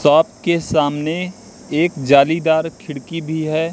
शाप के सामने एक जालीदार खिड़की भी है।